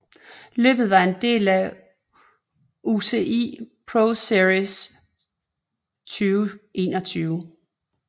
Løbet var en del af UCI ProSeries 2021